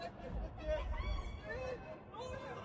Qardaş, qardaş, qardaş, qardaş, qardaş, qardaş, nə olur?